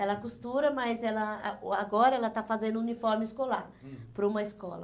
Ela costura, mas ela ah uh agora ela está fazendo uniforme escolar, hum, para uma escola.